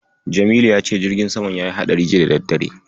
Jamilu ya ce jirgin samam yayi haɗari juya da daddare.